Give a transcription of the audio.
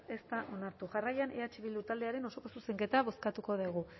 ez da onartu jarraian eh bildu taldearen osoko zuzenketa bozkatuko dugu